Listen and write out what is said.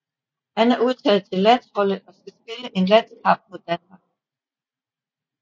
Han er udtaget til landsholdet og skal spille en landskamp mod Danmark